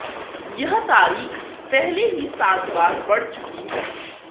यह तारीख पहले ही सात बार बढ़ चुकी है